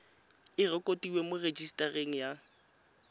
e rekotiwe mo rejisetareng ya